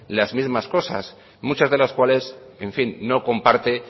las mismas cosas muchas de las cuales en fin no comparte